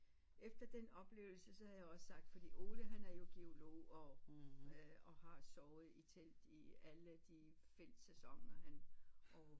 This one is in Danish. Efter den oplevelse så havde jeg også sagt fordi Ole han havde jo givet lov og øh har sovet i telt i alle de felt sæsoner han og